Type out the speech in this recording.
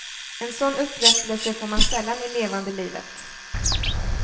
En sån upprättlese får man sällan i levande livet.